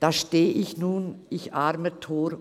«Da steh ich nun, ich armer Tor!